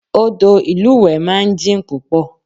Odò ìlúwẹ̀ẹ́ máa ń jìn púpọ̀